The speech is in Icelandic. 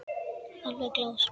Alveg glás.